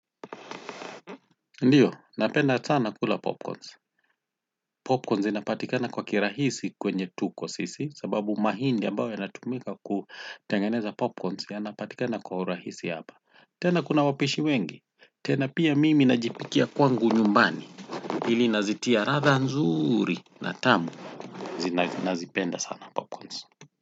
Ndiyo napenda sana kula popcorns. Popcorns inapatikana kwa kirahisi kwenye tuko sisi. Sababu mahindi ambayo yanatumika kutengeneza popcorns yanapatikana kwa urahisi hapa. Tena kuna wapishi wengi. Tena pia mimi najipikia kwangu nyumbani pili nazitia ladha nzuri na tamu nazipenda sana popcorns.